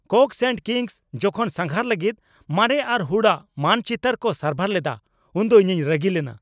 ᱠᱳᱠᱥ and Kings ᱡᱚᱠᱷᱚᱱ ᱥᱟᱸᱜᱷᱟᱨ ᱞᱟᱹᱜᱤᱫ ᱢᱟᱨᱮ ᱟᱨ ᱦᱩᱲᱟᱹᱜ ᱢᱟᱱᱪᱤᱛᱟᱹᱨ ᱠᱚ ᱥᱟᱨᱵᱷᱟᱨ ᱞᱮᱫᱟ ᱩᱱᱫᱚ ᱤᱧᱤᱧ ᱨᱟᱹᱜᱤ ᱞᱮᱱᱟ ᱾